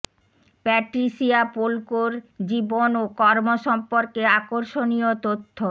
Patricia Polko এর জীবন ও কর্ম সম্পর্কে আকর্ষণীয় তথ্য